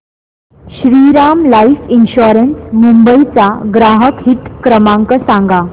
Shriram life insurance Mumbai चा ग्राहक हित क्रमांक सांगा